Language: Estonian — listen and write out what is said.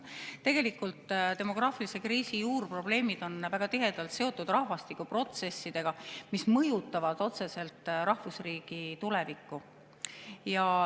Tegelikult on demograafilise kriisi juurprobleemid väga tihedalt seotud rahvastikuprotsessidega, mis mõjutavad otseselt rahvusriigi tulevikku.